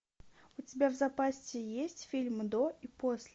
у тебя в запасе есть фильм до и после